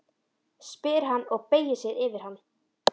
spyr hann og beygir sig yfir hana.